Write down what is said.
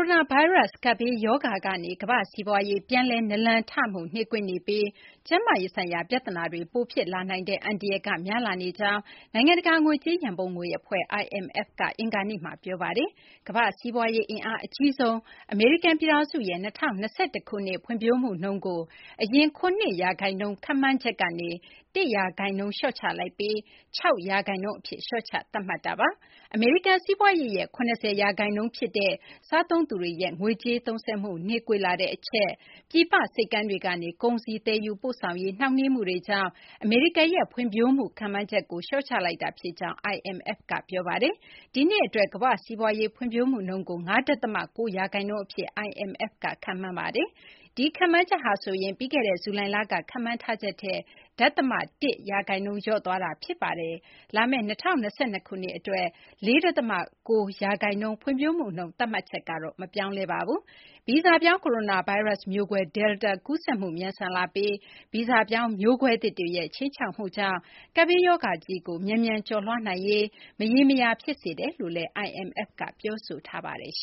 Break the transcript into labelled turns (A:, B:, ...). A: ိုနာဗိုင်းရပ်စ် ကပ်ဘေးရောဂါကနေ ကမ ္ဘာ့စီးပွားရေး ပြန်လည် နာလန်ထမှု နှေးကွေးနေပြီး ကျန်းမာရေးဆိုင်ရာ ပြဿနာတွေ ပိုဖြစ်လာနိုင်တဲ့ အန္တရာယ်က များလာနေကြောင်း နိုင်ငံတကာ ငွေကြေး ရန်ပုံငွေ အဖွဲ့ IMF က အင်္ဂါနေ့မှာ ပြောပါတယ်။ ကမ ္ဘာ့ စီးပွားရေး အင်အား အကြီးဆုံး အမေရိကန် ပြည်ထောင်စုရဲ့ ၂၀၂၁ ခုနှစ် ဖွံ့ဖြိုးမှုနှုန်းကို အရင် ၇ ရာခိုင်နှုန်း ခန့်မှန်းချက်ကနေ ၁ ရာခိုင်နှုန်း လျှော့ချလိုက်ပြီး ၆ ရာခိုင်နှုန်းအဖြစ် လျှော့ချ သတ်မှတ်ပါတယ်။ အမေရိကန် စီးပွားရေးရဲ့ ၇၀ ရာခိုင်နှုန်း ဖြစ်တဲ့ စားသုံးသူတွေရဲ့ ငွေကြေးသုံးစွဲမှု နှေးကွေးလာတဲ့ အချက်၊ ပြည်ပ ဆိပ်ကမ်းတွေကနေ ကုန်စည် သယ်ယူပို့ဆောင်ရေး နှောင့်နှေးမှုတွေကြောင့် အမေရိကန်ရဲ့ ဖွံ့ဖြိုးမှု ခန့်မှန်းချက်ကို လျှော့ချလိုက်တာ ဖြစ်ကြောင်း IMF က ပြောပါတယ်။ ဒီနှစ် အတွက် ကမ ္ဘာ့စီးပွားရေး ဖွံ့ဖြိုးမှုနှုန်းကို ၅ ဒသမ ၉ ရာခိုင်နှုန်း အဖြစ် IMF က ခန့်မှန်းပါတယ်။ ဒီခန့်မှန်းချက်ဟာဆိုရင် ပြီးခဲ့တဲ့ ဇူလိုင်က ခန့်မှန်းထားချက်ထက် ဒသမ ၁ ရာခိုင်နှုန်း လျော့သွားတာ ဖြစ်ပါတယ်။ လာမယ့် ၂၀၂၂ ခုနှစ် အတွက် ၄ ဒသမ ၉ ရာခိုင်နှုန်း ဖွံ့ဖြိုးမှုနှုန်း သတ်မှတ်ချက်ကတော့ မပြောင်းလဲပါဘူး။ ဗီဇပြောင်း ကိုရိုနာဗိုင်းရပ်စ် မျိုးကွဲ Delta ကူးစက်မှု မြန်ဆန်လာပြီး ဗီဇပြောင်း မျိုးကွဲသစ်တွေရဲ့ ခြိမ်းခြောက်မှုကြောင့် ကပ်ဘေးရောဂါကြီးကို မြန်မြန် ကျော်လွှားနိုင်ရေး မရေမရာ ဖြစ်စေတယ်လို့လည်း IMF က ပြောဆိုထားပါတယ်။